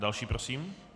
Další prosím.